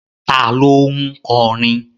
Ta ló ń kọrin?